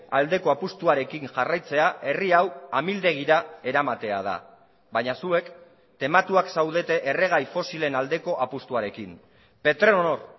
aldeko apustuarekin jarraitzea herri hau amildegira eramatea da baina zuek tematuak zaudete erregai fosilen aldeko apustuarekin petronor